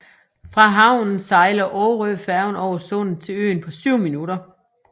Fra havnen sejler Aarøfærgen over sundet til øen på 7 minutter